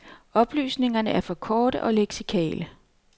Oplysningerne er for korte og leksikale.